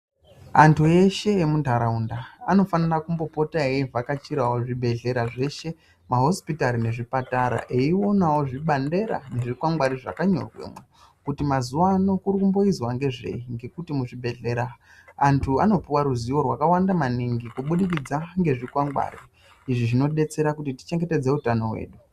Antu eshe emuntaraunda anofanira kumbopota eivhakachiravo zvibhedhleya zveshe mahosipitari nezvipatata. Eionavo zvibandela nezvikwangwani zvakanyorwa kuti mazuva ano kurikuboizwa ngezvei ngekuti muzhibhedhlera antu anopuva ruzivo rwakawanda maningi kubudikidza ngezvikwangwari. Izvi zvinobetsera kuti tichengetedze utano hwedu.